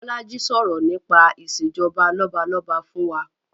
Bolaji sọ̀rọ̀ nípa Ìṣèjọba lọ́balọ́ba fún wa